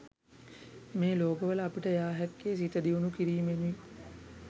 මේ ලෝකවලට අපිට යා හැක්කේ, සිත දියුණු කිරීමෙනුයි.